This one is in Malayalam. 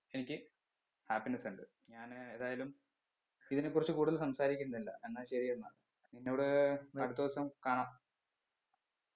എനിക്ക് happiness ഉണ്ട് ഞാന് ഏതായാലും ഇതിനെ കുറിച്ച് കൂടുതൽ സംസാരിക്കുന്നില്ല എന്ന ശരി എന്ന നിന്നോട് അടുത്ത ദിവസം കാണാം